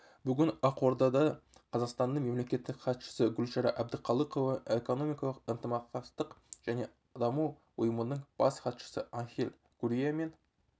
бүгін ақордада қазақстанның мемлекеттік хатшысы гүлшара әбдіқалықова экономикалық ынтымақтастық және даму ұйымының бас хатшысы анхель гурриамен